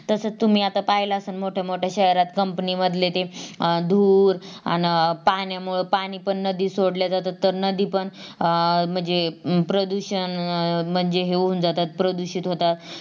तसाच तुम्ही आता पाहिलात असाल मोठ्या मोठ्या शहरात Company मधले ते अं धूर अन पाण्यामुळं पाणी पण नदीत सोडल्या जातत तर नदी पण अं म्हणजे प्रदूषण अह म्हणजे हे होऊन जातात प्रदूषित होऊन जातात.